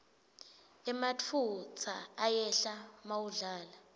emafutsa ayehla mawudlala